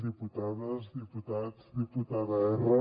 diputades diputats diputada erra